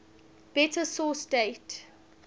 better source date